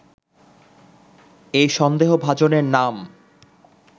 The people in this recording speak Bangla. এই সন্দেভাজনের নাম